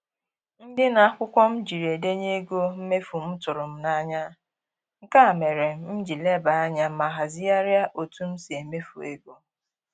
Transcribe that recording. Ndịna akwụkwọ m ji edenye ego mmefu m tụrụ m n'anya, nke mere m ji lebe anya ma hazigharịa otu m si emefu ego